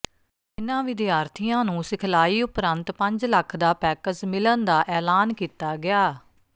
ਇਨ੍ਹਾਂ ਵਿਦਿਆਰਥੀਆਂ ਨੂੰ ਸਿਖਲਾਈ ਉਪਰੰਤ ਪੰਜ ਲੱਖ ਦਾ ਪੈਕਜ਼ ਮਿਲਣ ਦਾ ਐਲਾਨ ਕੀਤਾ ਗਿਆ